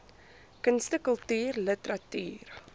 kunste kultuur literatuur